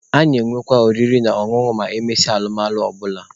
A na-enwekwa oriri na ọṅụṅụ ma emesịa alụmalụ ọ bụla.